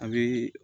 A bi